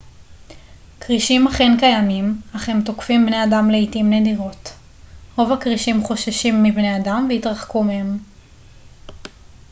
כרישים אכן קיימים אך הם תוקפים בני אדם לעתים נדירות רוב הכרישים חוששים מבני אדם ויתרחקו מהם